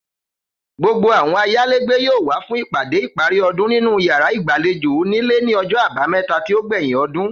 Gbogbo àwo̩n ayálégbé yóò wá fún ìpàdé ìparí o̩dún nínú yàrá ìgbàlejò onílé ní o̩jo̩ Àbámé̩ta tí ó gbè̩yìn o̩dún